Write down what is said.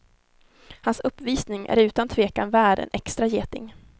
Hans uppvisning är utan tvekan värd en extra geting.